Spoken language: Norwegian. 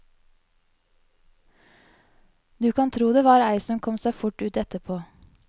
Du kan tro det var ei som kom seg fort ut etterpå.